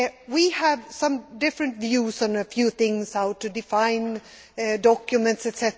We have some different views on a few things how to define documents, etc.